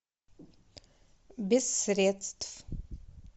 без средств